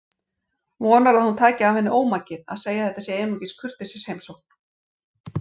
Vonar að hún taki af henni ómakið að segja að þetta sé einungis kurteisisheimsókn.